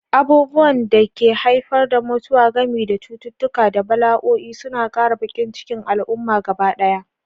Abubuwan da ke haifar da mutuwa, gami da cututtuka da bala'o'i, suna ƙara baƙin cikin al'umma gabaɗaya.